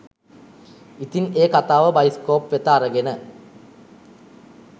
ඉතින් ඒ කතාව බයිස්කෝප් වෙත අරගෙන